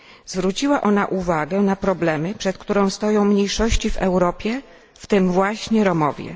Zwróciła ona uwagę na problemy, przed którymi stoją mniejszości w Europie, w tym właśnie Romowie.